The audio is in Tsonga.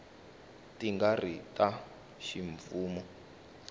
ti nga ri ta ximfumo